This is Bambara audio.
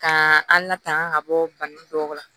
Ka an latanga ka bɔ bana dɔw la